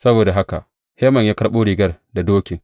Saboda haka, Haman ya karɓo rigar da dokin.